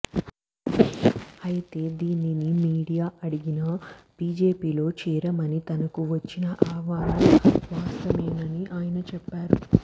అయితే దీనిని మీడియా అడిగినా బీజేపీలోకి చేరమని తనకు వచ్చిన ఆహ్వానం వాస్తవమేనని ఆయన చెప్పారు